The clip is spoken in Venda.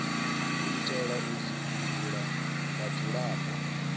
u itela u dzumbulula vhudzulapo